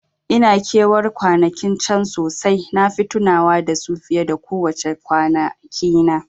Ina ke war kwanakin can sosai, nafi tunawa da su fiye ko wace kwana kina